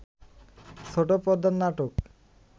ছোট পর্দার নাটক